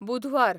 बुधवार